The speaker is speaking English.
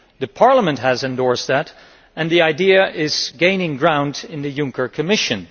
The Parliament has endorsed that and the idea is gaining ground in the Juncker Commission.